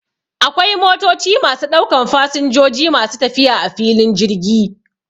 Akwai motoci masu ɗaukan fasinjoji masu tafiya a filin jirgi